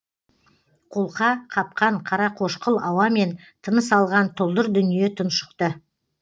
қолқа қапқан қарақошқыл ауамен тыныс алған тұлдыр дүние тұншықты